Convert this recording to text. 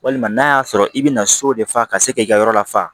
Walima n'a y'a sɔrɔ i bɛna so de fa ka se k'i ka yɔrɔ lafa